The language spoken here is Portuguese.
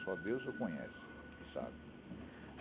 Só Deus o conhece e sabe.